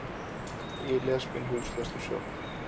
Ég les minn húslestur sjálfur